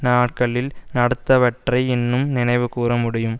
நாட்களில் நடத்தவற்றை இன்னும் நினைவுகூற முடியும்